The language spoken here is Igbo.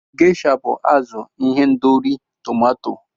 Gesha bụ azụ n'ihendori tomato.